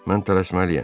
Mən tələsməliyəm.